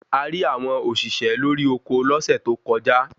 a rí àwọn òṣìṣẹ́ lori oko lọ́sẹ̀ tó kọjá